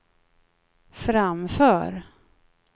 framför